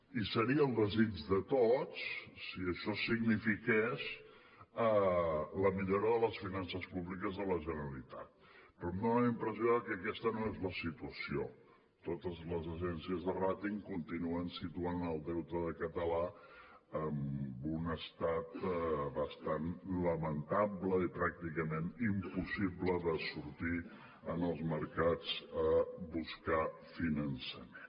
i seria el desig de tots si això signifiqués la millora de les finances públiques de la generalitat però em dona la impressió de que aquesta no és la situació totes les agències de ràting continuen situant el deute català en un estat bastant lamentable i pràcticament impossible de sortir en els mercats a buscar finançament